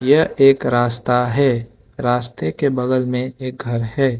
यह एक रास्ता है रास्ते के बगल में एक घर है।